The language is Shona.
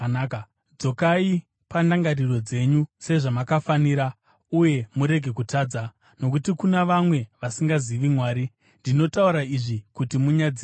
Dzokai pandangariro dzenyu sezvamakafanira, uye murege kutadza; nokuti kuna vamwe vasingazivi Mwari. Ndinotaura izvi kuti munyadziswe.